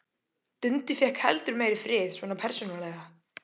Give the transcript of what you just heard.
Dundi fékk heldur meiri frið, svona persónulega.